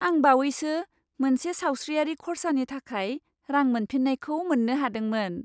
आं बावैसो मोनसे सावस्रियारि खर्सानि थाखाय रां मोनफिन्नायखौ मोन्नो हादोंमोन।